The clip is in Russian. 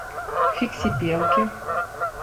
фиксипелки